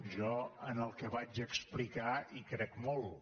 jo en el que vaig explicar hi crec molt